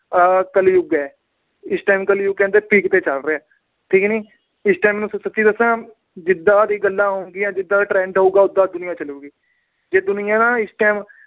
ਆਹ ਕਲਯੁਗ ਆ। ਇਸ time ਕਲਯੁਗ ਕਹਿੰਦੇ peak ਤੇ ਚਲ ਰਿਹਾ। ਠੀਕ ਨਾ। ਇਸ time ਸੱਚੀ ਗੱਲ ਦੱਸਾ ਜਿਦਾਂ ਦੀਆਂ ਗੱਲਾਂ ਹੋਣਗੀਆਂ, ਜਿਦਾਂ ਦਾ trend ਹੋਊਗਾ, ਉਦਾਂ ਹੀ ਦੁਨੀਆਂ ਚਲੂਗੀ। ਜੇ ਦੁਨੀਆ ਨਾ ਇਸ time